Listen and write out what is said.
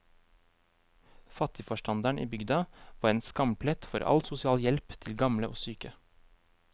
Fattigforstanderen i bygda var en skamplett for all sosial hjelp til gamle og syke.